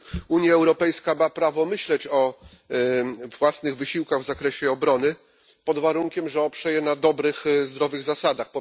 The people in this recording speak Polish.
Unia Europejska ma prawo myśleć o własnych wysiłkach w zakresie obrony, pod warunkiem że oprze je na dobrych, zdrowych zasadach.